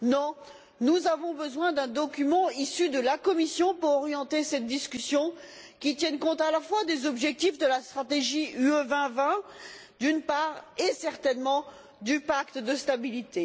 Non, nous avons besoin d'un document issu de la Commission pour orienter cette discussion, qui tienne compte à la fois des objectifs de la stratégie Europe 2020, d'une part, et, évidemment, du pacte de stabilité.